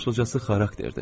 Başlıcası xarakterdir.